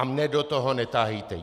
A mě do toho netahejte.